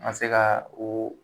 An ga se ka o